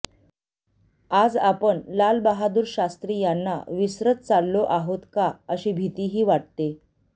आज आपण लाल बहादुर शास्त्री यांना विसरत चाललो आहोत का अशी भीतीही वाटते